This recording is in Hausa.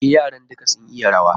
E, yaran duka sun iya ruwa